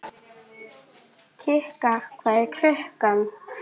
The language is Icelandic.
Kikka, hvað er klukkan?